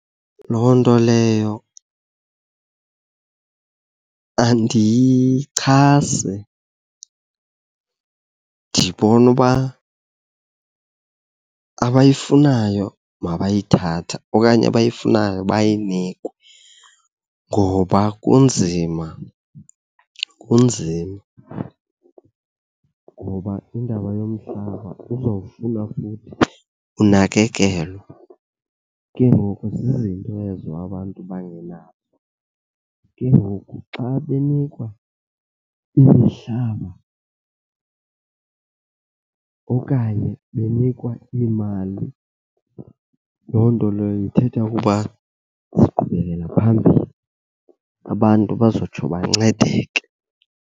Loo nto leyo andiyichasi, ndibona uba abayifunayo mabayithathe okanye abayifunayo bayinikwe ngoba kunzima, kunzima. Ngoba indaba yomhlaba kuzawufuna futhi unakekelwe, ke ngoku zizinto ezo abantu abangenazo. Ke ngoku xa benikwa imihlaba okanye benikwa iimali, loo nto leyo ithetha ukuba bazoqhubekeka phambili. Abantu bazotsho bancedeke.